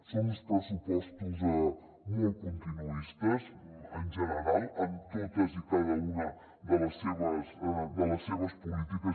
són uns pressupostos molt continuistes en general en totes i cada una de les seves polítiques